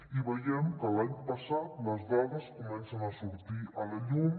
i veiem que l’any passat les dades comencen a sortir a la llum